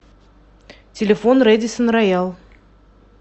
телефон рэдиссон роял